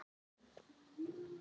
Ég varð að losna.